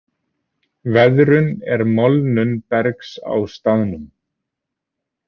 Veðrun er molnun bergs á staðnum.